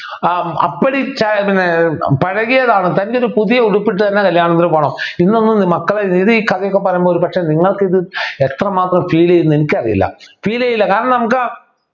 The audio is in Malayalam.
ആഹ് അപ്പടി ചാ പിന്നെ ഏർ പഴകിയതാണ് പുതിയ ഉടുപ്പിട്ട തന്നെ കല്യാണത്തിന് പോണം എന്നൊന്നും മക്കളെ രീതി ഈ കഥയൊക്കെ പറയുമ്പോൾ ഒരുപക്ഷേ നിങ്ങൾക്കിത് എത്രമാത്രം feel ചെയ്യും ന്ന് എനിക്കറിയില്ല feel ചെയ്യില്ല കാരണം നമുക്ക്